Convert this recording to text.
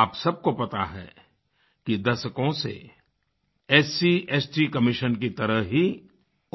आप सबको पता है कि दशकों से एससीएसटी कमिशन की तरह ही